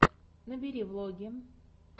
набери влоги